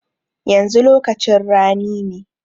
Yanzu lokacin rani ne.